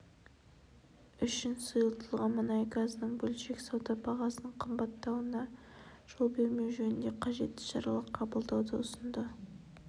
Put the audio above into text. үшін сұйылтылған мұнай газының бөлшек сауда бағасының қымбаттауына жол бермеу жөнінде қажетті шаралар қабылдауды ұсынды